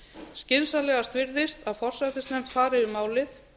skynsamlegast virðist að forsætisnefnd fari yfir málið